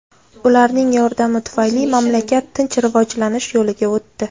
Ularning yordami tufayli mamlakat tinch rivojlanish yo‘liga o‘tdi.